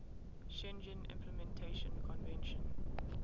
schengen implementation convention